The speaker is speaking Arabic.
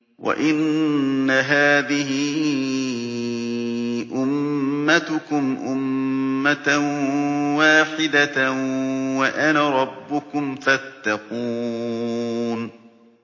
وَإِنَّ هَٰذِهِ أُمَّتُكُمْ أُمَّةً وَاحِدَةً وَأَنَا رَبُّكُمْ فَاتَّقُونِ